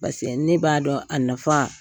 ne b'a dɔn a nafa